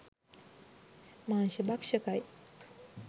මාංශ භක්ෂකයි.